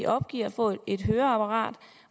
opgiver at få et høreapparat